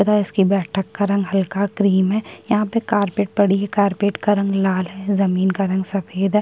तथा इसकी बैठक का रंग हल्का क्रीम है यहाँ पे कार्पेट पड़ी है कारपेट का रंग लाल है जमीन का रंग सफेद है।